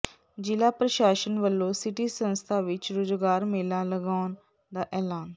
ਜ਼ਿਲ੍ਹਾ ਪ੍ਰਸਾਸ਼ਨ ਵੱਲੋਂ ਸਿਟੀ ਸੰਸਥਾ ਵਿੱਚ ਰੁਜ਼ਗਾਰ ਮੇਲਾ ਲਗਾਉਣ ਦਾ ਐਲਾਨ